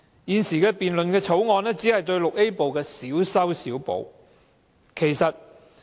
現在辯論的《條例草案》只是對《條例》VIA 部作出小修小補。